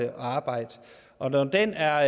at arbejde og når den er